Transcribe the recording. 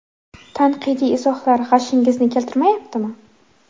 Tanqidiy izohlar g‘ashingizni keltirmayaptimi?